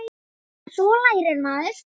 En svo lærir maður.